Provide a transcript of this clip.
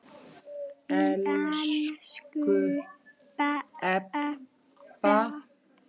Elsku Ebba.